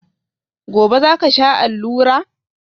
Gobe ​​zaka sha allura?